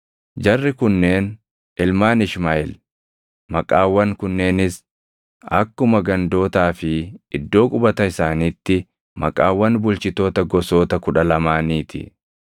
Jarri kunneen ilmaan Ishmaaʼeel; maqaawwan kunneenis akkuma gandootaa fi iddoo qubata isaaniitti maqaawwan bulchitoota gosoota kudha lamaanii ti.